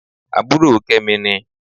Àbúrò Kẹ́mi ni